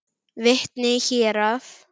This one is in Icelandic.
Vitni í héraði.